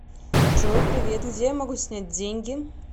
джой привет где я могу снять деньги